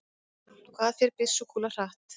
Hvað fer byssukúla hratt?